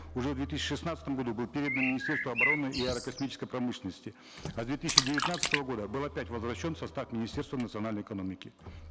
уже в две тысячи шестнадцатом году был передан министерству обороны и аэрокосмической промышленности а с две тысячи девятнадцатого года был опять возвращен в состав министерства национальной экономики